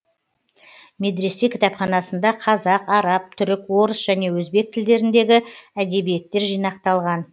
медресе кітапханасында қазақ араб түрік орыс және өзбек тілдеріндегі әдебиеттер жинақталған